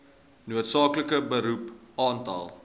noodsaaklike beroep aantal